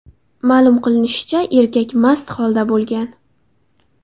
Ma’lum qilinishicha, erkak mast holda bo‘lgan.